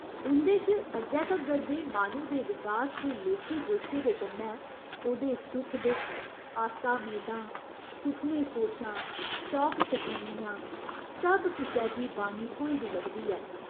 इं'दे च अज्जै तगर दे माह्‌नू दे विकास दे लेखे जोखे दे कन्नै ओह्दे सुख दुख, आसा मेदां, सुखने सोचां, शौक शकीनियां, सब किसै गी बाणी थ्होई दी लभदी ऐ।